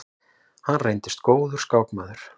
Hann reyndist góður skákmaður.